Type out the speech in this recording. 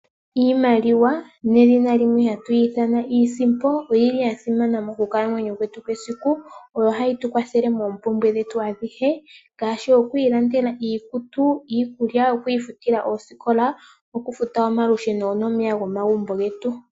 Iimaliwa nedhina limwe hatuyi ithana iisimpo oyili yasimana mokukalamwenyo kwetu kwesiku, oyo hayi tukwathele moompumbwe dhetu adhihe ngaashi, okwiilandela iikutu, iikulya, okwiifutila oosikola, okufuta omalusheno nomeya gomagumbo getu.